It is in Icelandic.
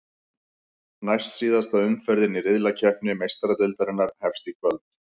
Næstsíðasta umferðin í riðlakeppni Meistaradeildarinnar hefst í kvöld.